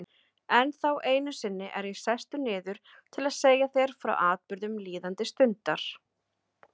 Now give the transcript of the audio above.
Ennþá einu sinni er ég sestur niður til að segja þér frá atburðum líðandi stundar.